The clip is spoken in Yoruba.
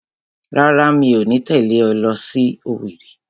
Rárá, mi ò ní tẹ̀lé ọ lọ sí Owerri